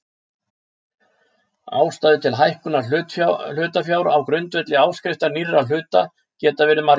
Ástæður til hækkunar hlutafjár á grundvelli áskriftar nýrra hluta geta verið margar.